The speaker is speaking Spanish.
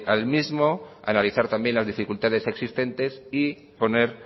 al mismo analizar también las dificultades existentes y poner